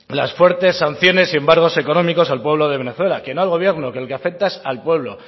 las fuertes sanciones y embargos económicos al pueblo de venezuela que no al gobierno que al que afecta es al pueblo